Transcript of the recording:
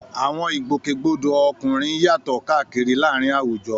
Àwọn ìgbòkègbodò ọkùnrin yàtọ̀ káàkiri láàárín àwùjọ.